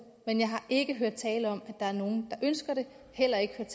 men jeg har ikke hørt tale om at der er nogen der ønsker det heller ikke